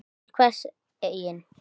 Oft þurfti ekki meira til.